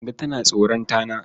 Kande tana tsoron tana.